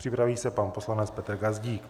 Připraví se pan poslanec Petr Gazdík.